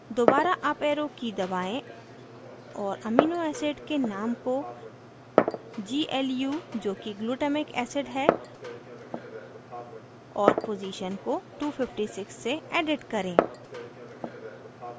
दोबारा up arrow की दबाएं और amino acid के name को glu जोकि glutamic acid है और पोज़ीशन को 256 से edit करें